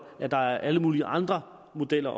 at der også er alle mulige andre modeller